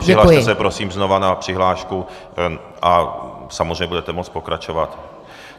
Přihlaste se prosím znovu na přihlášku a samozřejmě budete moct pokračovat.